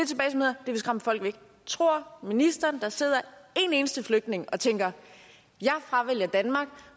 vil skræmme folk væk tror ministeren at der sidder en eneste flygtning og tænker jeg fravælger danmark